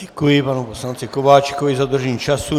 Děkuji panu poslanci Kováčikovi za dodržení času.